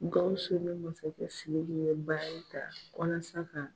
Gawusu ni masakɛ siriki ye baari ta walasa ka